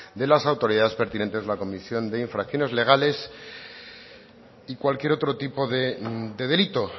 de las autoridades pertinentes la comisión de infracciones legales y cualquier otro tipo de delito